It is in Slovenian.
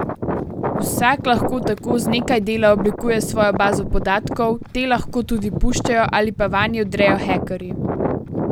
Vsak lahko tako z nekaj dela oblikuje svojo bazo podatkov, te lahko tudi puščajo ali pa vanje vdrejo hekerji.